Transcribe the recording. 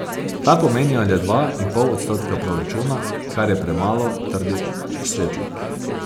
Ta pomenijo le dva in pol odstotka proračuna, kar je premalo, trdi Svetlik.